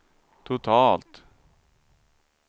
totalt